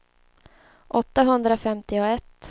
åttahundrafemtioett